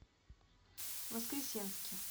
воскресенске